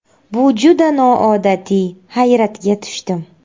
Bu juda noodatiy, hayratga tushdim.